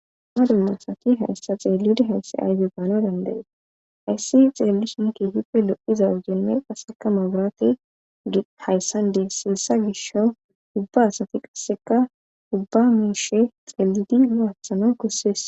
Ma dumma asati hayssa xeelida haysse ayze daano danda'es hayssi xeellisunki hiphe lo'iza jenme qasseka maaburati hayssandee siessa gisho ubba asati qasseka dubba miishe xeelidi laathano kossees.